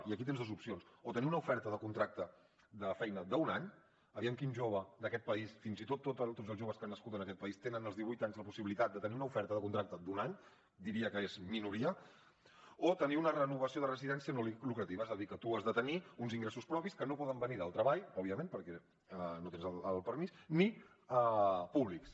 i aquí tens dos opcions o tenir una oferta de contracte de feina d’un any aviam quin jove d’aquest país fins i tot tots els joves que han nascut en aquest país tenen als divuit anys la possibilitat de tenir una oferta de contracte d’un any diria que és minoria o tenir una renovació de residència no lucrativa és a dir que tu has de tenir uns ingressos propis que no poden venir del treball òbviament perquè no tens el permís ni públics